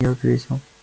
я ответил